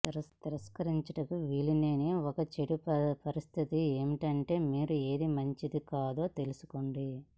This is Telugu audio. తిరస్కరించుటకు వీలులేని ఒక చెడు పరిస్థితి ఏమిటంటే మీరు ఏది మంచిది కాదో తెలుసుకోండి